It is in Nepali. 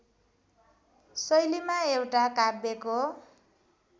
शैलीमा एउटा काव्यको